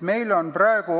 Meil on praegu